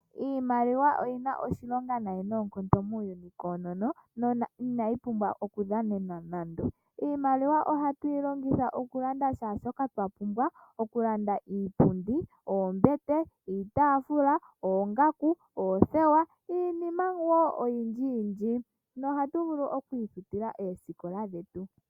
Iimaliwa oyina oshilonga nayi noonkondo muuyuni koonono. Inayi pumbwa okudhanenwa nande, iimaliwa ohatu yilongitha okulanda kehe shoka twapumbwa okulanda iipundi, iitafula noombete, oongaku, oothewa niinima oyindji nohatu vulu okwiifutila oosikola dhetu.